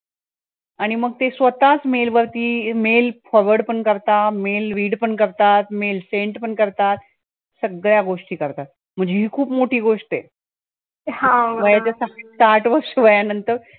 आणि मग ते स्वतःच mail वरती अं mail forward पण करतात mail read पण करतात mail send पण करतात सगळ्या गोष्टी करतात, हि खूप मोठी गोष्ट आहे वयाच्या साठ वर्ष वयांनंतर